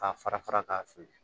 K'a fara fara k'a fili